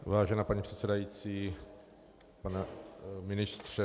Vážená paní předsedající, pane ministře.